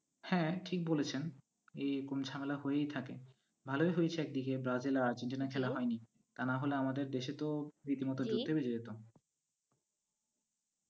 হ্যাঁ, ঠিক বলেছেন। এই এরকম ঝামেলা হয়েই থাকে। ভালোই হয়েছে একদিকে ব্রাজিল আর আর্জেন্টিনার খেলা হয়নি। তা নাহলে আমাদের দেশে তো রীতিমতো যুদ্ধই বেজে যেতো।